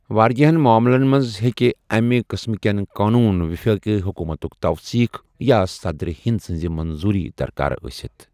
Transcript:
واریٛاہَن معاملَن منٛز ہٮ۪کَہِ اَمہِ قسٕمٕہٕ کین قونوٗن وفٲقی حکوٗمتٗك توثیق یا صدرِ ہند سٕنٛز منظوٗری درکار ٲسِتھ ۔